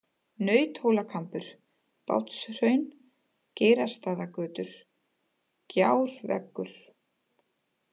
Nauthólakambur, Bátshraun, Geirastaðagötur, Gjárveggur